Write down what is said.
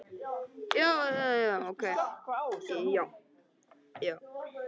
Fanný, hvernig er veðurspáin?